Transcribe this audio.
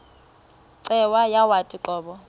cweya yawathi qobo